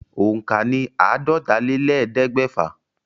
Òǹkà ní àádọ́tálélẹ́ẹ̀ẹ́dẹ́gbẹ́fà.